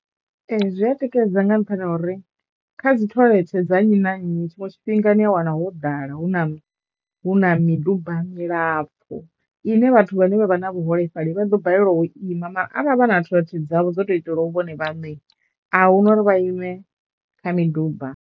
Ee zwi a tikedza nga nṱhani ha uri kha dzi thoḽethe dza nnyi na nnyi tshinwe tshifhinga ni a wana ho ḓala hu na hu na miduba milapfu ine vhathu vhane vha vha na vhuholefhali vha ḓo balelwa u ima mara avha a vha na thoḽethe dzavho dzo tou itelwaho vhone vhaṋe ahuna uri vha ime kha miduba.